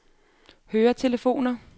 høretelefoner